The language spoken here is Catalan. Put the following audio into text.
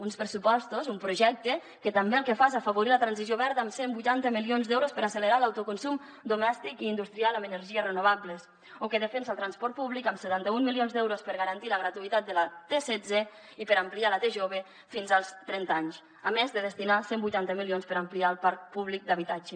uns pressupostos un projecte que també el que fa és afavorir la transició verda amb cent i vuitanta milions d’euros per accelerar l’autoconsum domèstic i industrial amb energies renovables o que defensa el transport públic amb setanta un milions d’euros per garantir la gratuïtat de la tsetze i per ampliar la tjove fins als trenta anys a més de destinar cent i vuitanta milions per ampliar el parc públic d’habitatge